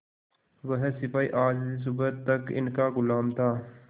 वह सिपाही आज सुबह तक इनका गुलाम था